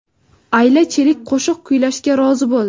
Ayla Chelik qo‘shiq kuylashga rozi bo‘ldi.